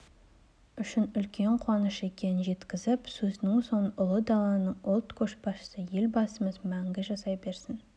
үшін үлкен қуаныш екенін жеткізіп сөзінің соңын ұлы даланың ұлт көшбасшысы елбасымыз мәңгі жасай берсін